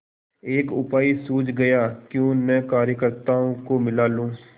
एक उपाय सूझ गयाक्यों न कार्यकर्त्ताओं को मिला लूँ